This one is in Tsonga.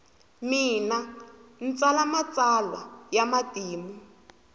mina ntsala matsalwalwa yamatimu